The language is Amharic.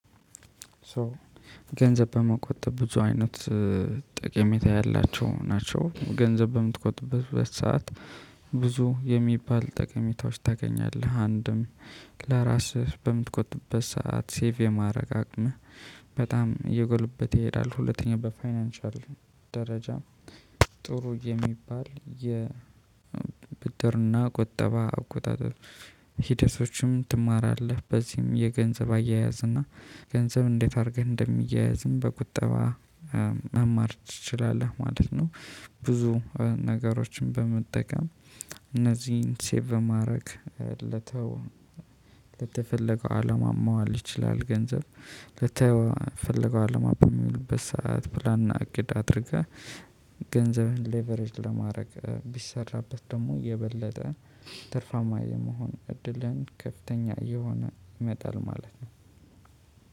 ሶ ገንዘብ በመቆጠብ ብዙ አይነት ጠቀሜታ ያላቸው ናቸው። ገንዘብ በምትቆጥብበት ሰዓት ብዙ የሚባል ጠቀሜታዎች ታገኛለህ አንድም ለራስህ በምትቆጥብበት ሰዓት ሴቭ የማድረግ አቅምህ በጣም እየጎልበተ ይሄዳል። ሁለተኛ በፋይናንሻል ደረጃ ጥሩ የሚባል የብድርና ቆጠባ አቆጣጠር ሂደቶችም ትማራለህ። በዚህም የገንዘብ አያያዝ እና ገንዘብ እንዴት አድርገህ እንደሚያዝም በቁጠባ መማር ትችላለህ ማለት ነው። ብዙ ነገሮችን በመጠቀም እነዚህን ሴቭ ማድረግ ለተው ለተፈለገው አለማ ማዋል ይችላል። ገንዘብ ለተፈለገው አለማ በሚሉበት ሰዓት ፕላና እቅድ አድርገህ ገንዘብህን ሌቨሬጅ ለማድረግ ቢሰራበት ደግሞ የበለጠ ትርፋማ የመሆን እድልን ከፍተኛ እየሆነ ይመጣል ማለት ነው።